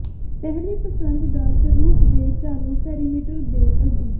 ਪਹਿਲੀ ਪਸੰਦ ਦਾ ਸਰੂਪ ਦੇ ਚਾਲੂ ਪੈਰਾਮੀਟਰ ਦੇ ਅੱਗੇ